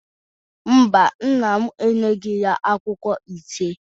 Mba, nna m enyeghi ya akwụkwọ ise.